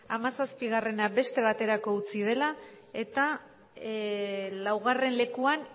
amasazpigarrena beste baterako itzi dela eta laugarren lekuan